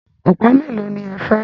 Ọ̀pá mélòó ní ẹ fẹ́?